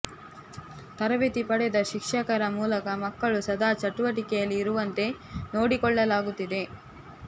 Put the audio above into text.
ತರಬೇತಿ ಪಡೆದ ಶಿಕ್ಷಕರ ಮೂಲಕ ಮಕ್ಕಳು ಸದಾ ಚಟುವಟಿಕೆಯಲ್ಲಿ ಇರುವಂತೆ ನೋಡಿಕೊಳ್ಳಲಾಗುತ್ತಿದೆ